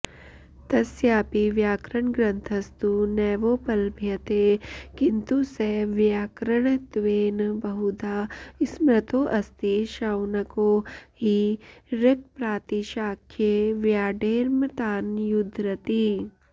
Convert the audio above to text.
तस्यापि व्याकरणग्रंथस्तु नैवोपलभ्यते किन्तु स वैयाकरणत्वेन बहुधा स्मृतोऽस्ति शौनको हि ऋक्प्रातिशाख्ये व्याडेर्मतान्युद्धरति